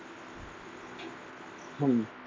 হুম।